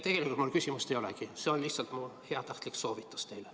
Tegelikult mul küsimust ei olegi, see oli lihtsalt mu heatahtlik soovitus teile.